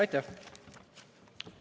Aitäh!